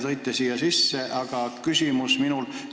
Te tõite sisse vabatahtlike teema.